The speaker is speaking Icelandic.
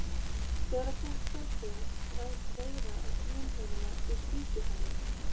Þegar að fólk fær kvef ræðst veira á slímhúðina og sýkir hana.